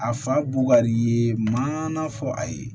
A fa bu kari ye ma na fɔ a ye